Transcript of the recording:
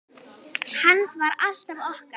Hans var alltaf okkar.